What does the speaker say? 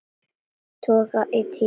Toga í tímann.